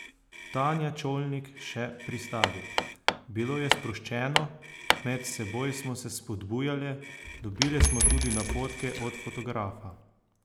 Tanja Čolnik še pristavi: "Bilo je sproščeno, med seboj smo se spodbujale, dobile smo tudi napotke od fotografa.